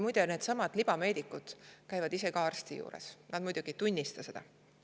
Muide, needsamad libameedikud käivad ise ka arsti juures, nad muidugi ei tunnista seda.